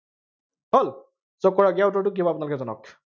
হল, so কৰক ইয়াৰ উত্তৰটো কি হব আপোনালোকে জনাওঁক।